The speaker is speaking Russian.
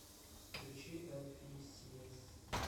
включи элфисиэс